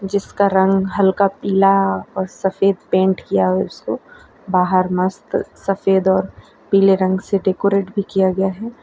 जिसका रंग हल्का पिला और सफेद पेंट किया है उसको बाहर मस्त सफेद और पीले रंग से डेकोरेट भी किया गया हैं।